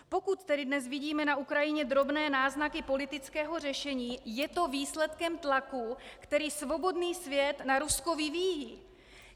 Pokud tedy dnes vidíme na Ukrajině drobné náznaky politického řešení, je to výsledkem tlaku, který svobodný svět na Rusko vyvíjí.